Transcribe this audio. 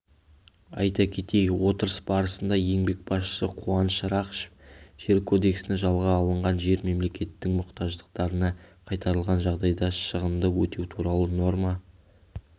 айта кетейік отырыс барысында еңбек басшысы қуаныш рақышев жер кодексіне жалға алынған жер мемлекеттің мұқтаждықтарына қайтарылған жағдайда шығынды өтеу туралы норма